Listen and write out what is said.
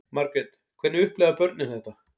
Margrét: Hvernig upplifa börnin þetta?